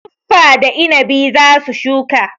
Tuffa da inabi za su shuka.